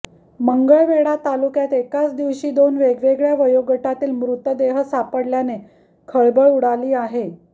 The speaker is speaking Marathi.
मंगळवेढा तालुक्यात एकाच दिवशी दोन वेगवेगळ्या वयोगटातील मृतदेह सापडल्याने खळबळ उडाली आहे